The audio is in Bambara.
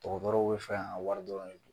Dɔrɔgɔtɔbaw bɛ fɛ an wara dɔrɔn.